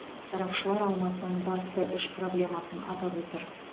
сарапшылар алматының басты үш проблемасын атап отыр